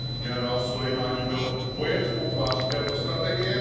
Generál Sulejmání byl vojenskou tváří této strategie.